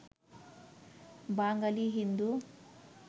Bangali Hindu